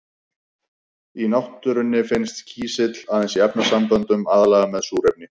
Í náttúrunni finnst kísill aðeins í efnasamböndum, aðallega með súrefni.